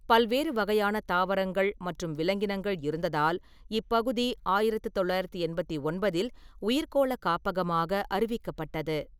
பல்வேறு வகையான தாவரங்கள் மற்றும் விலங்கினங்கள் இருந்ததால் இப்பகுதி ஆயிரத்து தொள்ளாயிரத்து எண்பத்தி ஒன்பதில் உயிர்க்கோள காப்பகமாக அறிவிக்கப்பட்டது.